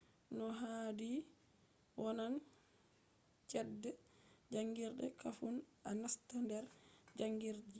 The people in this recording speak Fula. no haadi wonan chede jangirde kafun a nasta nder jangirde ji